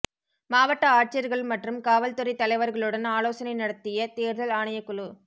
மாவட்ட ஆட்சியர்கள் மற்றும் காவல் துறைத் தலைவர்களுடன் ஆலோசனை நடத்திய தேர்தல் ஆணையக் குழு